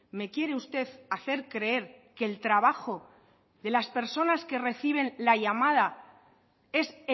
me quiere usted hacer creer que el trabajo de las persona que reciben la llamada es